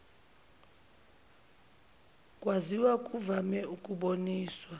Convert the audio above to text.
kwaziswa kuvame ukuboniswa